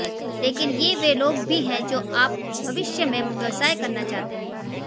लेकिन ये वे लोग भी हैं जो आप भविष्य में व्यवसाय करना चाहते हैं